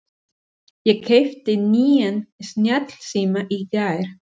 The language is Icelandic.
Ég keypti nýjan snjallsíma í gær.